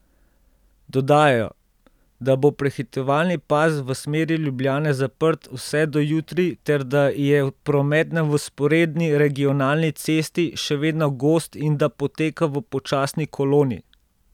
Dodajajo, da bo prehitevalni pas v smeri Ljubljane zaprt vse do jutri ter da je promet na vzporedni regionali cesti še vedno gost in da poteka v počasni koloni.